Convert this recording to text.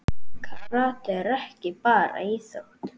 Karate er ekki bara íþrótt.